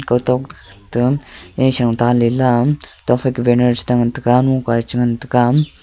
kawtok to nisho ta lela tokfai ka banner che tengan taiga nukae chengan taiga.